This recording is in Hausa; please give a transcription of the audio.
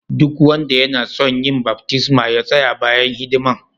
Duk wanda yana tson yin baftisma ya tsaya bayan hidiman.